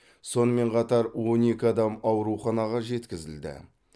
сонымен қатар он екі адам ауруханаға жеткізілді